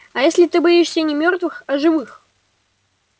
а если ты боишься не мёртвых а живых